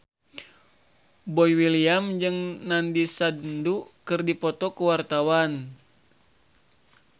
Boy William jeung Nandish Sandhu keur dipoto ku wartawan